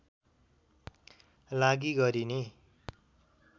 लागि गरिने